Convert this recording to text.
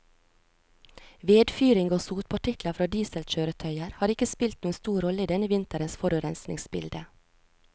Vedfyring og sotpartikler fra dieselkjøretøyer har ikke spilt noen stor rolle i denne vinterens forurensningsbilde.